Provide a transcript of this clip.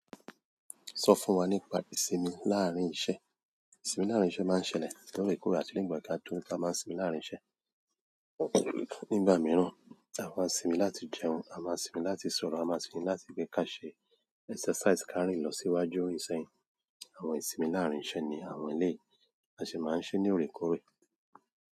Sọ fún wa nípa ìsinmi láàárín iṣẹ́. Ìsinmi láàárín iṣẹ́ máa ń ṣẹlẹ̀ lóre kórè àti nígbà tí a tó nípa máa sinmi láàárín iṣẹ́. Nígbà mìíràn a máa sinmi láti jẹun, a máa sinmi láti sọ̀rọ̀, a máa sinmi láti gbé ká ṣe exercise, ká rìn lọ síwájú, rìn sẹ́yìn. Àwọn ìsinmi láàárín iṣẹ́ ní àwọn eléyi, a sì máa ń ṣe ní òrèkóòrè.